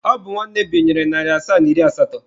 Ọ bụ nwanne m binyere narị asaa na iri asatọ.